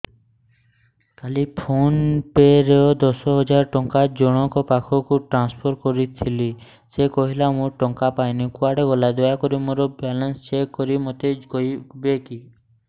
କାଲି PhonePe ରେ ଦଶ ହଜାର ଟଙ୍କା ଜଣକ ପାଖକୁ ଟ୍ରାନ୍ସଫର୍ କରିଥିଲି ସେ କହିଲା ମୁଁ ଟଙ୍କା ପାଇନି କୁଆଡେ ଗଲା ଦୟାକରି ମୋର ବାଲାନ୍ସ ଚେକ୍ କରି ମୋତେ କହିବେ କି